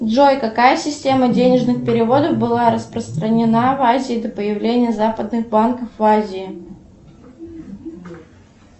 джой какая система денежных переводов была распространена в азии до появления западных банков в азии